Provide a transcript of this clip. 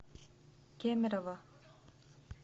кемерово